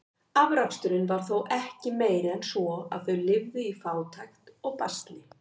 Afraksturinn var þó ekki meiri en svo, að þau lifðu í fátækt og basli.